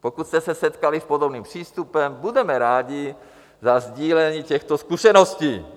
Pokud jste se setkali s podobným přístupem, budeme rádi za sdílení těchto zkušeností.